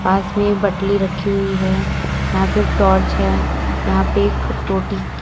पास में बटली रखी हुई है यहां पे एक टॉर्च है यहां पे रोटी की--